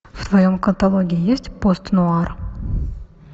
в твоем каталоге есть пост нуар